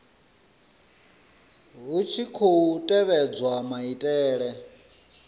hu tshi khou tevhedzwa maitele